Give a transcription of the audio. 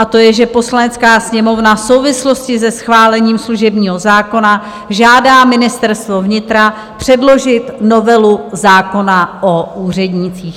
A to je, že Poslanecká sněmovna v souvislosti se schválením služebního zákona žádá Ministerstvo vnitra předložit novelu zákona o úřednících.